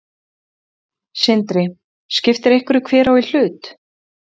Sindri: Skiptir einhverju hver á í hlut?